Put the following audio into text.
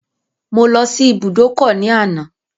Mo lọ sí ibùdókọ̀ ní àná.